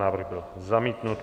Návrh byl zamítnut.